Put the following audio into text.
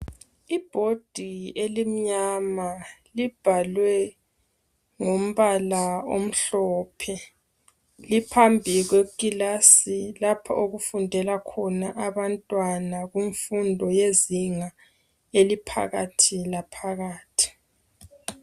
Ibhodi elimnyama, libhalwe ngombala omhlophe. Liphambi kwekilasi lapho okufundela khona abantwana, kumfundo, yezinga eliphakathi laphakathi.